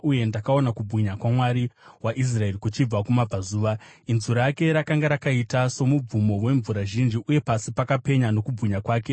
uye ndakaona kubwinya kwaMwari waIsraeri kuchibva kumabvazuva. Inzwi rake rakanga rakaita somubvumo wemvura zhinji, uye pasi pakapenya nokubwinya kwake.